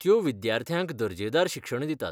त्यो विद्यार्थ्यांक दर्जेदार शिक्षण दितात.